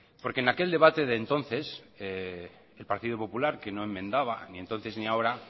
porque en aquel debate de entonces el partido popular que no enmendaba ni entonces ni ahora